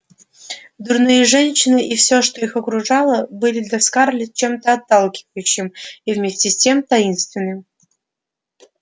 дурные женщины и всё что их окружало были для скарлетт чем-то отталкивающим и вместе с тем таинственным